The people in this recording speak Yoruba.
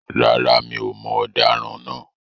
Rárá, mi ò mọ ọ̀daràn naa